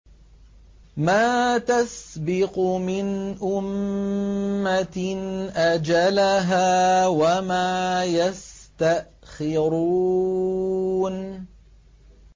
مَّا تَسْبِقُ مِنْ أُمَّةٍ أَجَلَهَا وَمَا يَسْتَأْخِرُونَ